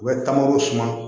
U bɛ taa mangoro suma